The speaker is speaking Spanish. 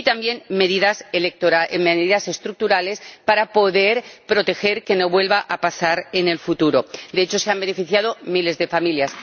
Y también ha tomado medidas estructurales para poder garantizar que no vuelva a pasar en el futuro. De hecho, se han beneficiado miles de familias.